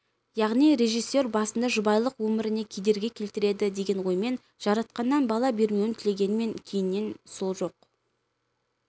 яғни режиссер басында жұбайлық өміріне кедергі келтіреді деген оймен жаратқаннан бала бермеуін тілегенмен кейіннен сол жоқ